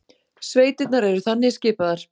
Sveitirnar eru þannig skipaðar